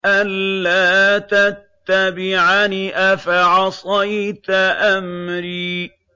أَلَّا تَتَّبِعَنِ ۖ أَفَعَصَيْتَ أَمْرِي